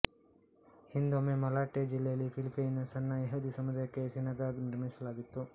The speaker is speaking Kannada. ಹಿಂದೊಮ್ಮೆ ಮಲಾಟೆ ಜಿಲ್ಲೆಯಲ್ಲಿ ಫಿಲಿಪ್ಪೈನಿನ ಸಣ್ಣ ಯಹೂದಿ ಸಮುದಾಯಕ್ಕಾಗಿ ಸೀನಗಾಗ್ ನಿರ್ಮಿಸಲಾಗಿತ್ತು